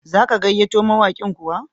Za ka gayyato mawaƙin kuwa?